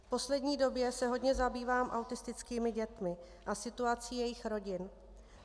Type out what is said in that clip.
V poslední době se hodně zabývám autistickými dětmi a situací jejich rodin.